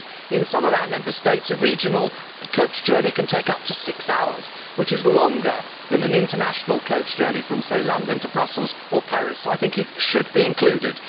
In some of our Member States a regional coach journey can take up to six hours, which is longer than an international coach journey from, say, London to Brussels or Paris. So I think it should be included.